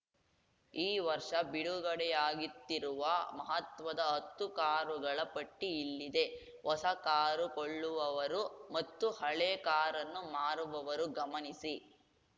ಈ ವರ್ಷ ಬಿಡುಗಡೆಯಾಗಿತ್ತಿರುವ ಮಹತ್ವದ ಹತ್ತು ಕಾರುಗಳ ಪಟ್ಟಿಇಲ್ಲಿದೆ ಹೊಸ ಕಾರು ಕೊಳ್ಳುವವರು ಮತ್ತು ಹಳೇ ಕಾರನ್ನು ಮಾರುವವರು ಗಮನಿಸಿ